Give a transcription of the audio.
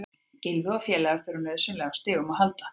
Gylfi og félagar þurfa nauðsynlega á stigum að halda.